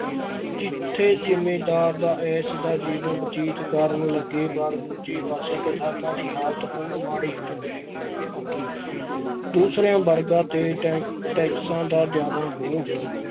ਜਿੱਥੇ ਜ਼ਿੰਮੀਦਾਰ ਦਾ ਐਸ ਦਾ ਜੀਵਨ ਬਤੀਤ ਕਰਨ ਲੱਗੇ ਪਰ ਦੂਜੇ ਪਾਸੇ ਕਿਸਾਨਾਂ ਦੀ ਹਾਲਤ ਹੋਰ ਮਾੜੀ ਹੋ ਗਈ ਦੂਸਰਿਆਂ ਵਰਗਾਂ ਤੇ ਟੈ~ ਟੈਕਸਾਂ ਦਾ ਜ਼ਿਆਦਾ ਬੋਝ